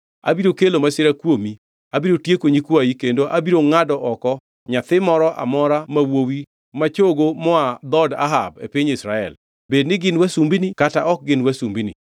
Abiro kelo masira kuomi. Abiro tieko nyikwayi kendo abiro ngʼado oko nyathi moro amora ma wuowi ma chogo moa dhood Ahab e piny Israel; bed ni gin wasumbini kata ok gin wasumbini.